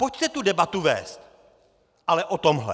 Pojďte tu debatu vést, ale o tomhle.